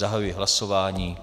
Zahajuji hlasování.